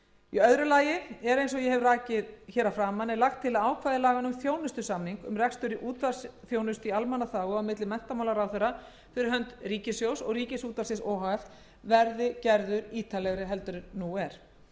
í öðru lagi er eins og ég hef rakið hér að framan lagt til að ákvæði laganna um þjónustusamning um rekstur útvarpsþjónustu í almannaþágu á milli menntamálaráðherra fyrir hönd ríkissjóðs og ríkisútvarpsins o h f verði gerð ítarlegri en nú er